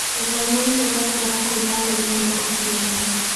Gũthoma nĩ kũbataraga kwĩhaarĩria na ũkirĩrĩria.